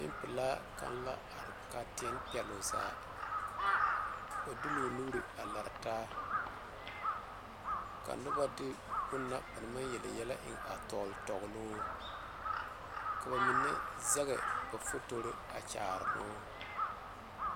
Nenpelaa kaŋa la are ka a teɛne peloŋ zaa o de la o nuure a lare taa ka noba de bonna ba naŋ maŋ yeli yɛllɛ eŋ a tɔgle tɔgle o ka ba mine zaŋ ba fotori a kaara o.